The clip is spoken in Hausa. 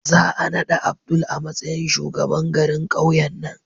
Za a naɗa Abdul a matsayin shugaban garin ƙauyen nan.